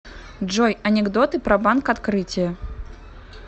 джой анекдоты про банк открытие